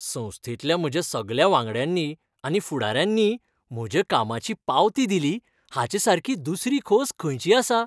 संस्थेंतल्या म्हज्या सगल्या वांगड्यांनी आनी फुडाऱ्यांनीय म्हज्या कामाची पावती दिली हाचेसारकी दुसरो खोस खंयची आसा?